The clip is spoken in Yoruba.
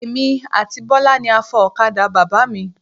Èmi àti Bọ́lá ni a fọ ọ̀kadà Bàbá mi.